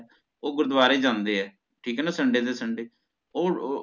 ਓਹ ਗੁਰਦਵਾਰੇ ਜਾਂਦੇ ਹੈ ਠੀਕ ਹੈ ਨਾ sunday ਦੇ sunday ਓਹ